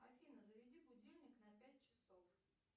афина заведи будильник на пять часов